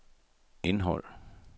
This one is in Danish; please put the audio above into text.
indhold